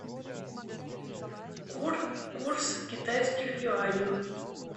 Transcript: курс китайских юаней